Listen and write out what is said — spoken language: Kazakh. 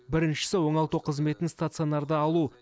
біріншісі оңалту қызметін стационарда алу